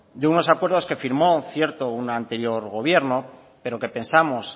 de unos acuerdos que firmó un anterior gobierno pero que pensamos